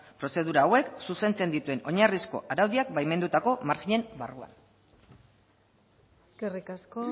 prozedura hauek zuzentzen dituen oinarrizko araudiak baimendutako maginen barruan eskerrik asko